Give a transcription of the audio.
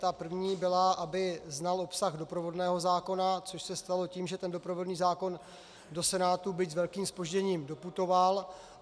Ta první byla, aby znal obsah doprovodného zákona, což se stalo tím, že ten doprovodný zákon do Senátu, byť s velkým zpožděním, doputoval.